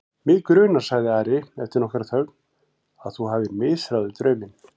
Mig grunar, sagði Ari eftir nokkra þögn,-að þú hafir misráðið drauminn.